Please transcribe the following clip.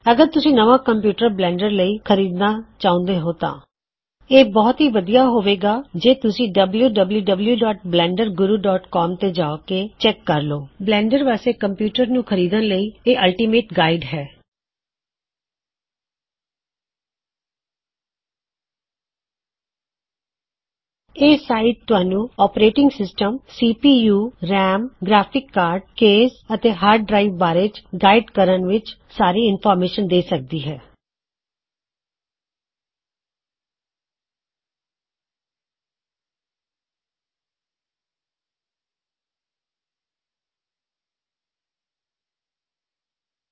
ਅਗਰ ਤੁਸੀ ਨਵਾ ਕੰਪਿਊਟਰ ਬਲੈਨਡਰ ਲਇ ਖਰੀਦਨਾਂ ਚਹੁਦੇ ਹੋ ਤਾਂ ਇਹ ਬਹੁਤ ਵੱਦੀਆ ਰਹੇਗਾ ਕੇਤੁਸੀ ਡਬਲਯੂਡਬਲਯੂਡਬਲਯੂਡਬਲਯੂਡਬਲਯੂਡਬਲਯੂਡਬਲਯੂਡਬਲਯੂਡਬਲਯੂਡਬਲਯੂਡਬਲਯੂਡਬਲਯੂਡਬਲਯੂਡਬਲਯੂਡਬਲਯੂਡਬਲਯੂਡਬਲਯੂਡਬਲਯੂਡਬਲਯੂਡਬਲਯੂਡਬਲਯੂਡਬਲਯੂਡਬਲਯੂਡਬਲਯੂਡਬਲਯੂਡਬਲਯੂਡਬਲਯੂਡਬਲਯੂਡਬਲਯੂਡਬਲਯੂਡਬਲਯੂਡਬਲਯੂਡਬਲਯੂਡਬਲਯੂਡਬਲਯੂਡਬਲਯੂਡਬਲਯੂਡਬਲਯੂਡਬਲਯੂਡਬਲਯੂ